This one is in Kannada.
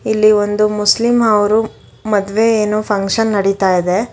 ಇಲ್ಲಿ ಒಂದು ಮುಸ್ಲಿಂ ಅವರು ಮದ್ವೆ ಏನೋ ಫಂಕ್ಷನ್ ನಡಿತಾ ಇದೆ.